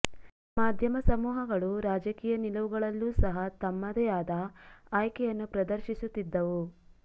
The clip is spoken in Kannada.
ಮಾಧ್ಯಮ ಸಮೂಹಗಳು ರಾಜಕೀಯ ನಿಲುವುಗಳಲ್ಲೂ ಸಹ ತಮ್ಮದೇ ಆದ ಆಯ್ಕೆಯನ್ನು ಪ್ರದರ್ಶಿಸುತ್ತಿದ್ದವು